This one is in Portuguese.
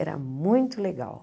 Era muito legal.